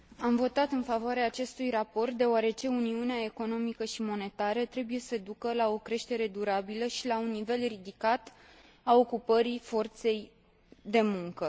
Am votat în favoarea acestui raport, deoarece uniunea economică și monetară trebuie să ducă la o creștere durabilă și la un nivel ridicat al ocupării forței de muncă.